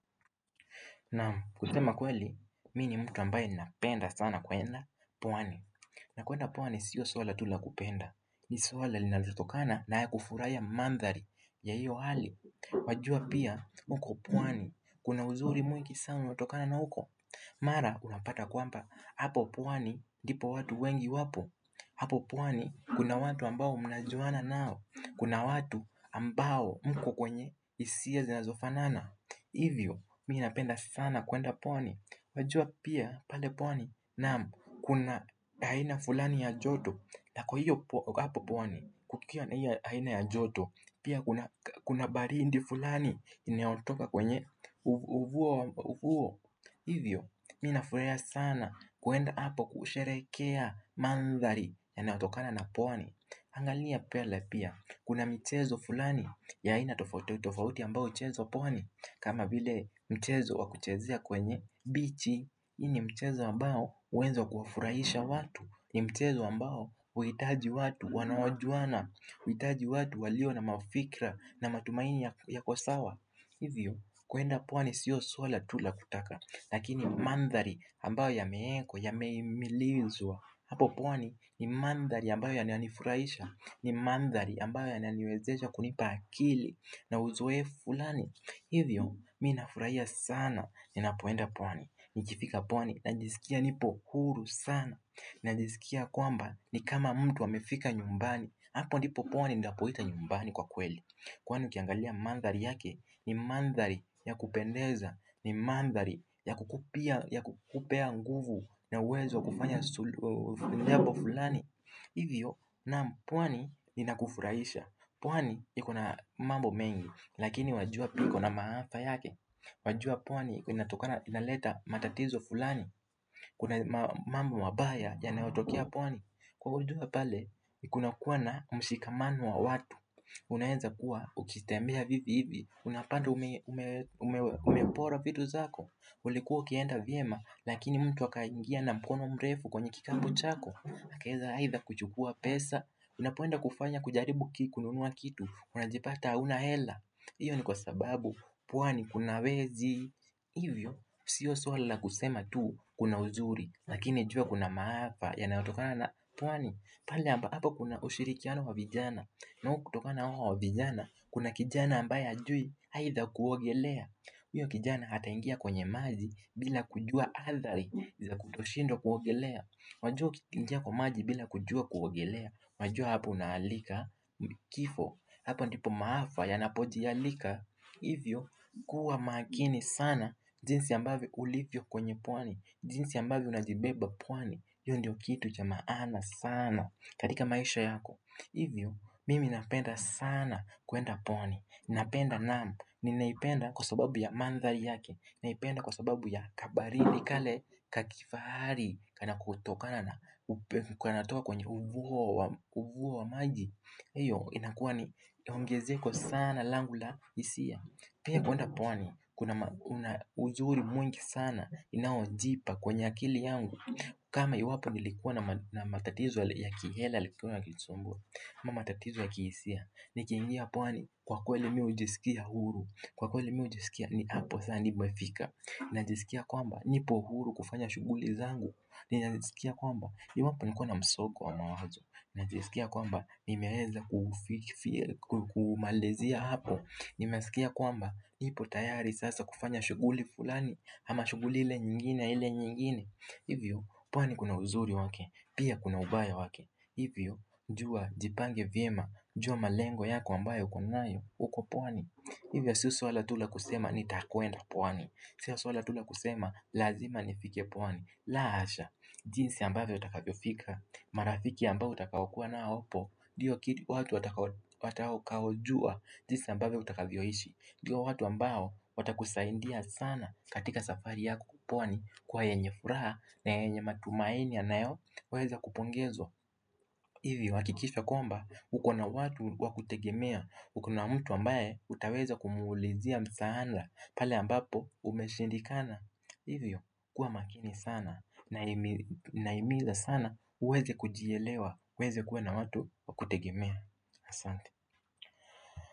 Naam, kusema kweli, mi ni mtu ambaye ninapenda sana kuenda pwani. Na kuenda pwani sio swala tu la kupenda. Ni swala linalotokana na ya kufurahia mandhari ya hiyo hali. Wajua pia, uko pwani, kuna uzuri mwingi sana hutokana na huko. Mara, unapata kwamba, hapo pwani ndipo watu wengi wapo. Hapo pwani, kuna watu ambao mnajuana nao. Kuna watu ambao mko kwenye hisia zinazofanana. Hivyo, mi napenda sana kuenda pwani, wajua pia pale pwani Naam, kuna aina fulani ya joto la kwa hiyo hapo pwani kukiwa na hio aina ya joto. Pia kuna baridi fulani Iinaotoka kwenye ufuo ufuo Hivyo, mi nafurahia sana kuenda hapo kusherekea mandhari yanaotokana na pwani. Angalia pele pia kuna michezo fulani ya aina tofauti ambao huchezwa pwani kama vile mchezo wa kuchezea kwenye bichi, hii ni mchezo ambao hueza kuwafurahisha watu. Ni mchezo ambao huhitaji watu wanaojuana, huhitaji watu walio na mafikra na matumaini yako sawa Hivyo, kuenda pwani sio swala tu la kutaka. Lakini mandhari ambayo yameekwa yameimilizwa. Hapo pwani ni mandhari ambayo yananifurahisha, ni mandhari ambayo yananiwezesha kunipa akili na uzoefu fulani Hivyo, mi nafurahia sana ninapoenda pwani, nikifika pwani, najisikia nipo huru sana, najisikia kwamba ni kama mtu amefika nyumbani, hapo ndipo pwani ndapoita nyumbani kwa kweli. Kwani ukiangalia mandhari yake, ni mandhari ya kupendeza, ni mandhari ya kukupea nguvu na uwezo wa kufanya jambo fulani. Hivyo naam pwani linakufuraisha, pwani iko na mambo mengi lakini wajua pia iko na maafa yake, wajua pwani inaleta matatizo fulani, kuna mambo mabaya yanayotokea pwani. Kwa ujumla pale, kunakua na mshikamano wa watu Unaeza kuwa ukitembea vivi hivi unapata wamepora vitu zako. Ulikuwa ukienda vyema lakini mtu akaingia na mkono mrefu kwenye kikapu chako akaeza aidha kuchukua pesa. Unapoenda kufanya kujaribu kununua kitu unajipata hauna hela, iyo ni kwa sababu pwani kuna wezi Hivyo, sio swala la kusema tu kuna uzuri, lakini jua kuna maafa yanatokana na pwani pale ambapo kuna ushirikiano wa vijana, nao kutokana na hao vijana kuna kijana ambaye hajui aidha kuogelea huyo kijana ataingia kwenye maji bila kujua athari za kutoshindwa kuogelea, wajua kuingia kwa maji bila kujua kuogelea wajua hapo unaalika kifo. Hapa ndipo maafa yanapojialika, hivyo kuwa makini sana jinsi ambave ulifyo kwenye pwani, jinsi ambavyo unajibeba pwani io ndio kitu cha maana sana katika maisha yako. Hivyo mimi napenda sana kuenda pwani, napenda naam Ninaipenda kwa sababu ya mandhari yake, naipenda kwa sababu ya kabaridi kale ka kifari kanakotokana na Kanaotoka kwenye uvuo wa maji. Hiyo inakuwa ni ongezeko sana langunla hisia, Pia kuenda pwani Kuna uzuri mwingi sana Iinaojipa kwenye akili yangu kama iwapo nilikuwa na matatizo ya kihela yalikuwa yakinisumbua ama matatizo ya kihisia. Nikiingia pwani kwa kweli mi hujisikia huru, Kwa kweli mi hujisikia ni hapo sa nimefik.a Najisikia kwamba nipo huru kufanya shughuli zangu Najisikia kwamba iwapo nilikuwa na msongo wa mawazo, najisikia kwamba nimeweza kumalizia hapo. Nimesikia kwamba nipo tayari sasa kufanya shughuli fulani, ama shughuli ile nyingine ile nyingine Hivyo, pwani kuna uzuri waki, pia kuna ubaya wake hivyo, jua jipange vyema, jua malengo yako ambayo uko nayo uko pwani. Hivyo, sio swala tu la kusema nitakuenda pwani Sio swala tu la kusema, lazima nifikie pwani, la hasha, jinsi ambavyo utakavyo fika marafiki ambao utakaokua na hapo ndio ki watu watakaojua jinsi ambavyo utakavyoishi, ndio watu ambao, watakusaidia sana katika safari yako pwani kwa yenye furaha na yenye matumaini yanayoweza kupongezwa Hivyo, hakikisha kwamba, uko na watu wa kutegemea. Uko na mtu ambaye utaweza kumuulizia msaada pale ambapo umeshindikana. Hivyo, kuwa makini sana Nahimiza sana uweze kujielewa, uweze kuwa na watu wa kutegemea. Asante.